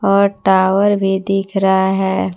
और टावर भी दिख रहा है।